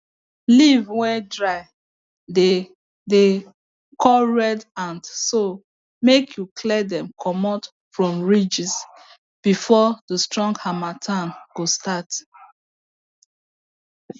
leaves wey dry dey dey call red ant so may you clear dem comot from ridges before the strong harmatttan go start